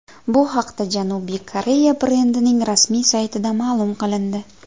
Bu haqda Janubiy Koreya brendining rasmiy saytida ma’lum qilindi .